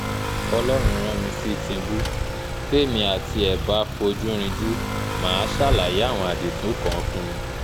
ọlọ́run rán mi sí tìǹbù témi àti ẹ̀ bá fojú rìnjù mà á ṣàlàyé àwọn àdììtú kan fún un